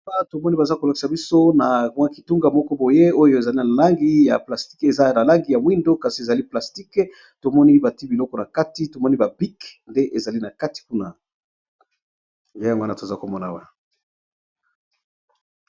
Awa tomoni baza kolokisa biso na mwa kitunga moko boye oyo ezali na langi ya plastique, eza na langi ya mwindo kasi ezali plastique, tomoni bati biloko na kati tomoni bapik nde ezali na kati kuna ye yango wana toza komona wa.